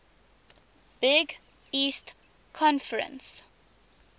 big east conference